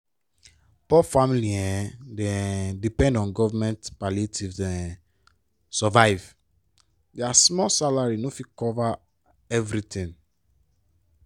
poor family um dey um depend on govt palliative to um survive! dia small salary no fit cover everytin.